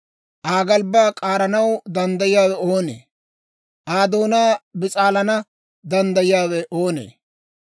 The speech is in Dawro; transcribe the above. Aa galbbaa k'aaranaw danddayiyaawe oonee? Aa doonaa bis'aalana danddayiyaawe oonee?